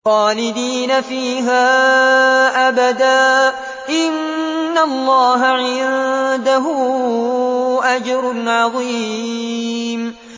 خَالِدِينَ فِيهَا أَبَدًا ۚ إِنَّ اللَّهَ عِندَهُ أَجْرٌ عَظِيمٌ